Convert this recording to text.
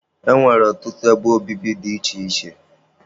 E nwere ọtụtụ ebe obibi dị iche iche.